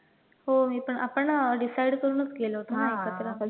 हो मी पण आपण decide करून घातलेलं ना एकत्र